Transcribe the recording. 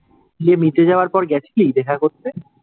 বিয়ে মিটে যাওয়ার পরে গেছিলি দেখা করতে?